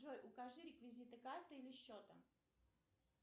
джой укажи реквизиты карты или счета